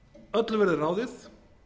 öllu verði ráðið